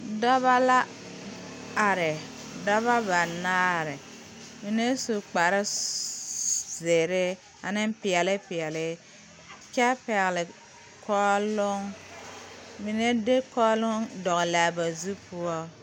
Dɔba la are dɔba banaare mine su kpare zere ane peɛle peɛle kyɛ pɛgle kɔɔloŋ mine de kɔɔloŋ dɔgle ba zu poɔ.